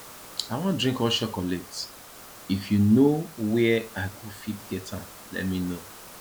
i wan drink hot chocolate if you know where i go fit get am let me know